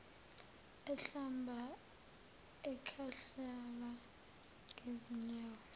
ehlamba ekhahlela ngezinyawo